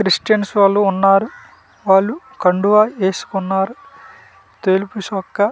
Christians వాళ్ళు ఉన్నారు వాళ్ళు కండువ వేసుకున్నారు తెలుపు చోక్క .